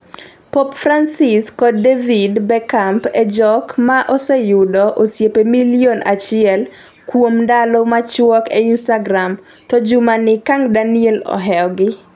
pop Francis kod David Beckamp e jok moseyudoga osiepe milion achiel kuom ndalo machuok e instagram, to juma ni Kang Daniel ohewo gi